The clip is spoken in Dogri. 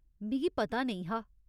मिगी पता नेईं हा।